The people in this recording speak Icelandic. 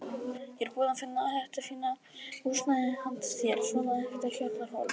Ég er búinn að finna þetta fína húsnæði handa þér, svona ekta kjallaraholu.